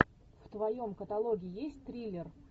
в твоем каталоге есть триллер